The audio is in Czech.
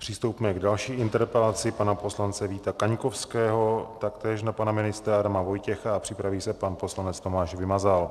Přistoupíme k další interpelaci, pana poslance Víta Kaňkovského taktéž na pana ministra Adama Vojtěcha, a připraví se pan poslanec Tomáš Vymazal.